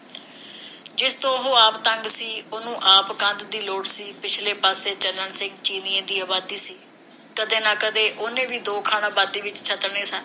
ਜਿਸ ਤੋਂ ਉਹ ਆਪ ਤੰਗ ਸੀ ਉਹਨੂੰ ਆਪ ਕੰਧ ਦੀ ਲੋੜ ਸੀ। ਪਿਛਲੇ ਪਾਸੇ ਚੰਨਣ ਸਿੰਘ ਚੀਨੀਂਏ ਦੀ ਆਬਾਦੀ ਸੀ। ਕਦੇ ਨਾ ਕਦੇ ਉਹਨੇ ਵੀ ਦੋ ਖਾਣਾ ਆਬਾਦੀ ਵਿਚ ਛੱਤਣੇ ਸਨ